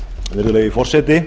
virðulegi forseti